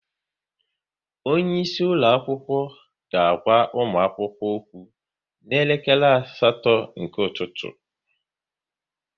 Onye isi ụlọ akwụkwọ ga-agwa ụmụ akwụkwọ okwu n'elekere asatọ nke ụtụtụ